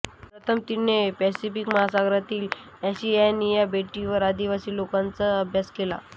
प्रथम तिने पॅसिफिक महासागरातील ओशिएनिया बेटावरील आदिवासी लोकांचा अभ्यास केला